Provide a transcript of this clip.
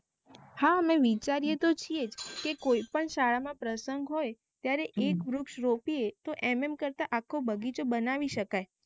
હા અમે વિચારી તો છીએ કે કોઈ પણ શાળા માં પ્રસંગ હોઈ ત્યારે એક વૃક્ષ રોપીએ તો એમ એમ કરતા આખો બગીચો બનાવી શકાય